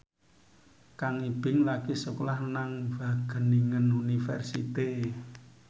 Kang Ibing lagi sekolah nang Wageningen University